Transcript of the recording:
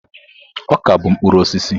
Ọka bụ mkpụrụ osisi.